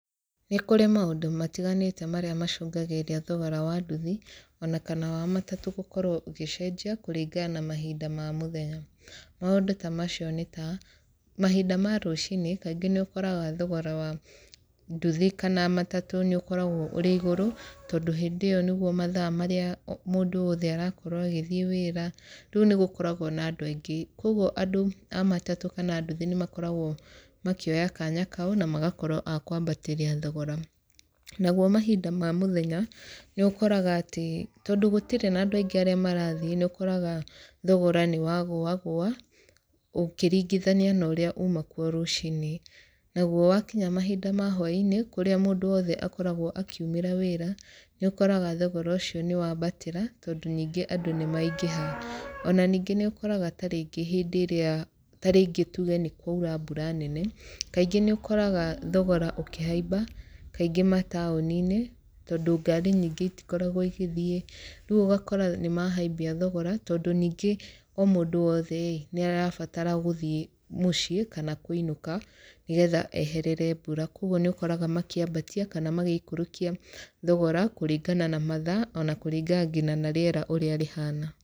Nĩ kũrĩ maũndũ matiganĩte marĩa macũngagĩrĩria thogora wa nduthi, ona kana wa matatũ gũkorwo ũgĩcenjia kũringana na mahinda ma mũthenya. Maũndũ ta macio nĩ ta, mahinda ma rũcinĩ, kaingĩ nĩ ũkoraga thogora wa nduthi kana matatũ nĩ ũkoragwo ũrĩ igũrũ, tondũ hĩndĩ ĩyo nĩguo mathaa marĩa mũndũ wothe arakorwo agĩthiĩ wĩra. Rĩu nĩ gũkoragwo na andũ aingĩ. Kũguo andũ a matatũ kana a nduthi nĩ makoragwo makĩoya kanya kau, na magakorwo a kwambatĩria thogora. Naguo mahinda ma mũthenya, nĩ ũkoraga atĩ, tondũ gũtirĩ na andũ aingĩ arĩa marathiĩ, nĩ ũkoraga thogora nĩ wagũagũa, ũkĩringithania na ũrĩa uma kuo rũcinĩ. Na guo wakinya mahinda ta ma hwainĩ, kũrĩa mũndũ wothe akoragwo akiumĩra wĩra, nĩ ũkoraga thogora ũcio nĩ wambatĩra, tondũ ningĩ andũ nĩ maingĩha. Ona ningĩ nĩ ũkoraga tarĩngĩ hĩndĩ ĩrĩa tarĩngĩ tuge nĩ kwaura mbura nene, kaingĩ nĩ ũkoraga thogora ũkĩhaiba, kaingĩ mataũni-inĩ, tondũ ngari nyingĩ itikoragwo igĩthiĩ. Rĩu ũgakora nĩ mahaimbia thogora, tondũ ningĩ o mũndũ wothe ĩĩ, nĩ arabatara gũthiĩ mũciĩ, kana kũinũka, nĩgetha eherere mbura. Kũguo nĩ ũkoraga makĩambatia, kana magĩikũrũkia thogora, kũringana na mathaa, ona kũringana ngina na rĩera ũrĩa rĩhana.